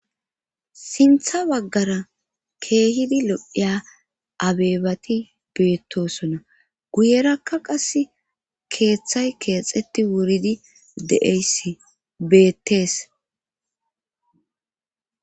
sintha baggara keehidi lodhiya abeebati beettosona guyerakka qas keeththay keexeti wuridi de7eysi beettees